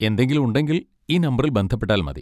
എന്തെങ്കിലും ഉണ്ടെങ്കിൽ ഈ നമ്പറിൽ ബന്ധപ്പെട്ടാൽ മതി.